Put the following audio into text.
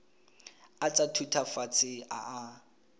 a tsa thutafatshe a a